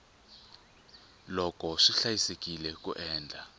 loko swi hlayisekile ku endla